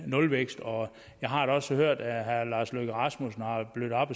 nulvækst og jeg har da også hørt at herre lars løkke rasmussen har blødt op